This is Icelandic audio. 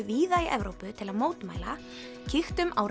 víða í Evrópu til að mótmæla kíktum á